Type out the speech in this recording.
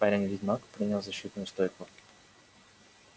парень-ведьмак принял защитную стойку